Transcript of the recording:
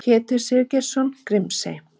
Pétur Sigurgeirsson: Grímsey.